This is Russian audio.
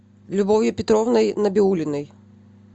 любовью петровной набиуллиной